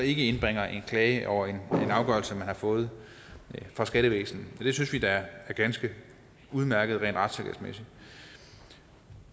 indbringer en klage over en afgørelse man har fået fra skattevæsenet det synes vi da er ganske udmærket rent retssikkerhedsmæssigt